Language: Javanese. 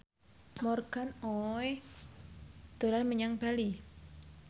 Morgan Oey dolan menyang Bali